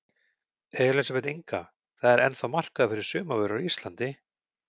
Elísabet Inga: Það er ennþá markaður fyrir sumarvörur á Íslandi?